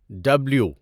W